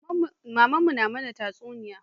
Mamana na mana tatsuniyoyi